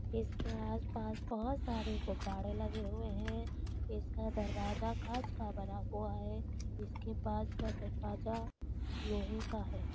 इसके आस पास बहुत सारे गुब्बारे लगे हुए है इसका दरवाजा कांच का बना हुआ है इसके पास का दरवाजा लोहे का है।